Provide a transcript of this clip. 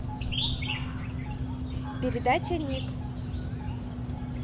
передача ник